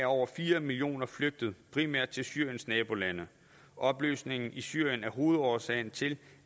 over fire millioner flygtet primært til syriens nabolande opløsningen i syrien er hovedårsagen til